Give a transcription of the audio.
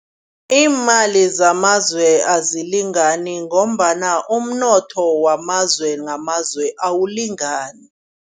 Iimali zamazwe azilingani ngombana umnotho wamazwe ngamazwe awulingani.